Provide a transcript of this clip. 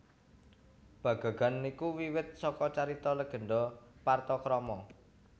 Bagagan iku wiwit saka carita legenda Partakrama